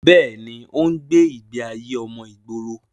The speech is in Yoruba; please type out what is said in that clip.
bẹ́ẹ̀ni, ó ń gbé ìgbé ayé ọmọ ìgboro